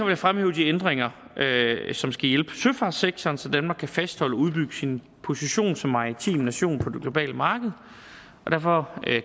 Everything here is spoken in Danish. jeg fremhæve de ændringer som skal hjælpe søfartssektoren så danmark kan fastholde og udbygge sin position som maritim nation på det globale marked derfor